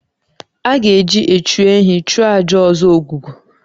A ga-eji echu ehi chụọ àjà ọzọ Ogwugwu